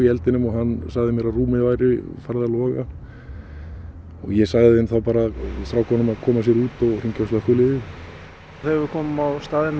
í eldinum og hann sagði mér að rúmið væri farið að loga ég sagði þeim þá bara strákunum að koma sér út og hringja á slökkviliðið þegar við komum á staðinn